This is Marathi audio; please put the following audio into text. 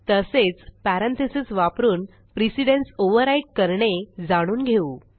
तसेच पॅरेंथीसेस वापरून प्रिसिडन्स ओव्हरराईड करणे जाणून घेऊ